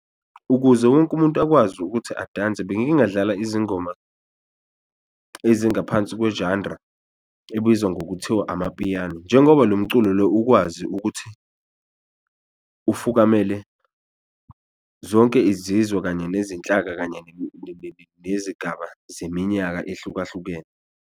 Ukuze wonke umuntu akwazi ukuthi adanse bengingadlala izingoma ezingaphansi kwe-genre ebizwa ngokuthiwa amapiyano njengoba lo mculo lo ukwazi ukuthi ufukamele zonke izizwe, kanye nezinhlaka, kanye nezigaba zeminyaka ehlukahlukene.